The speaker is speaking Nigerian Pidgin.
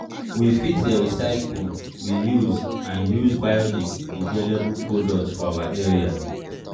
we fit dey recycle reuse and use bio-degradable products for our area